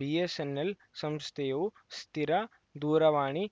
BSNL ಸಂಸ್ಥೆಯು ಸ್ಥಿರ ದೂರವಾಣಿ